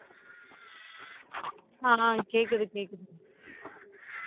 ஆஹ் கேக்குது கேக்குது